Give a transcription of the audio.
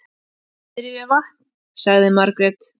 Niðri við vatn, sagði Margrét.